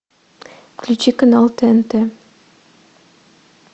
включи канал тнт